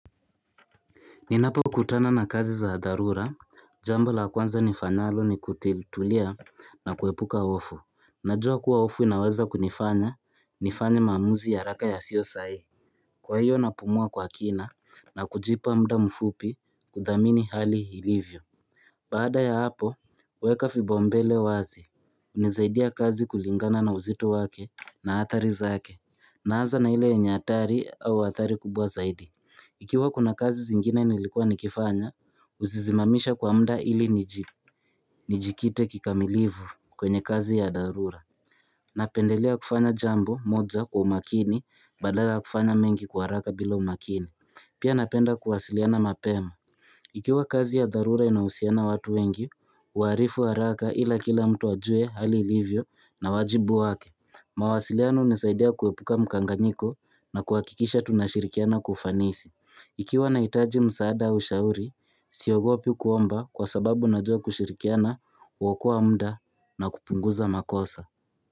Ninapokutana na kazi za dharura, jambo la kwanza nifanyalo ni kutulia na kuepuka hofu. Najua kuwa hofu inawaza kunifanya, nifanye maamuzi ya haraka yasio sahihi. Kwa hiyo napumua kwa kina na kujipa muda mfupi kudhamini hali ilivyo. Baada ya hapo, weka vipaumbele wazi. Hunisaidia kazi kulingana na uzito wake na athari zake. Naanza na ile yenye hatari au athari kubwa zaidi. Ikiwa kuna kazi zingine inilikuwa nikifanya, huzisimamisha kwa muda ili nijikite kikamilivu kwenye kazi ya dharura. Napendelea kufanya jambo moja kwa umakini badala ya kufanya mengi kwa haraka bila umakini. Pia napenda kuwasiliana mapema. Ikiwa kazi ya dharura inahusiana watu wengi, huwaalifu haraka ili kila mtu ajue hali livyo na wajibu wake. Mawasiliano hunisaidea kuepuka mkanganiko na kuhakikisha tunashirikiana kwa ufanisi. Ikiwa na hitaji msaada wa ushauri, siogopi kuomba kwa sababu najua kushirikiana huokoa muda na kupunguza makosa.